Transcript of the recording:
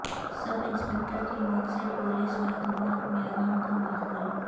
سب inspector کی موت سے پولس محکمہ میں غم کا ماحول